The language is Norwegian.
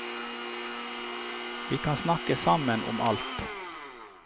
Vi kan snakke sammen om alt.